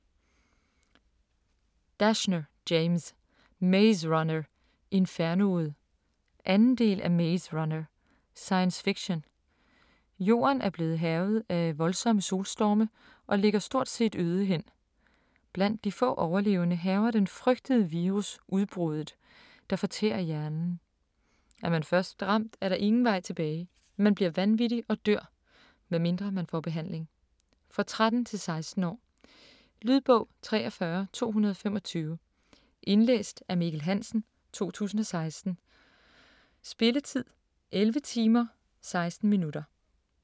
Dashner, James: Maze runner - infernoet 2. del af Maze runner. Science fiction. Jorden er blevet hærget af voldsomme solstorme og ligger stort set øde hen. Blandt de få overlevende hærger den frygtede virus "udbruddet", der fortærer hjernen. Er man først ramt, er der ingen vej tilbage, man bliver vanvittig og dør. Medmindre man får behandling. For 13-16 år. Lydbog 43225 Indlæst af Mikkel Hansen, 2016. Spilletid: 11 timer, 16 minutter.